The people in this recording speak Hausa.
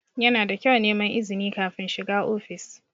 Yana da kyau neman izini kafin shiga ofis.